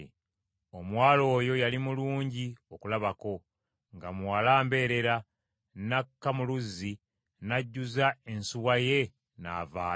Omuwala oyo yali mulungi okulabako nga muwala mbeerera, n’akka mu luzzi n’ajjuza ensuwa ye n’avaayo.